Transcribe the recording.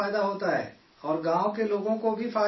اور گاؤں کے لوگوں کو بھی فائدہ اس سے ہے